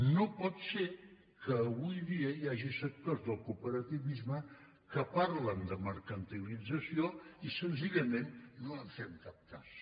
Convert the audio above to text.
no pot ser que avui dia hi hagi sectors del cooperativisme que parlen de mercantilització i senzillament no en fem cap cas